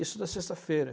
Isso na sexta-feira.